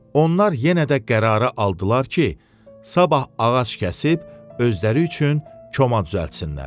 Onlar yenə də qərarı aldılar ki, sabah ağac kəsib özləri üçün koma düzəltsinlər.